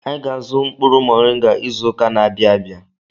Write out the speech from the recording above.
Anyị ga-azụ mkpụrụ moringa izụka n'abia abịa.